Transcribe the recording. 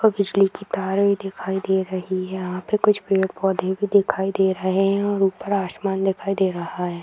और बिजली की तार भी दिखाई दे रही है यहां पे कुछ पेड़-पौधे भी दिखाई दे रहे है और ऊपर आसमान दिखाई दे रहा है।